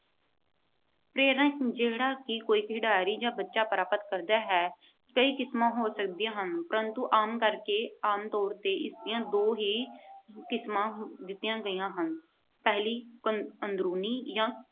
ਪ੍ਰੇਰਨਾ ਨੂੰ ਜਿਹੜਾ ਕੋਈ ਖਿਡਾਰੀ ਜਾਂ ਬੱਚਾ ਪ੍ਰਾਪਤ ਕਰਦਾ ਹੈ, ਕਈ ਕਿਸਮਾਂ ਹੋ ਸਕਦੀਆਂ ਹਨ। ਪਰ ਆਮ ਕਰਕ ਅਹ ਆਮ ਤੌਰ ਤੇ ਇਸ ਦੀਆਂ ਦੋ ਹੀ ਕਿਸਮਾਂ ਦਿੱਤੀਆਂ ਗਈਆਂ ਹਨ। ਪਹਿਲੀ ਆਹ ਅੰਦਰੂਨੀ ਜਾਂ